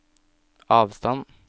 avstand